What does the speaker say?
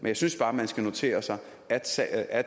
jeg synes bare man skal notere sig at sig at